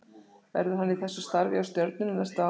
Verður hann í þessu starfi hjá Stjörnunni næstu árin?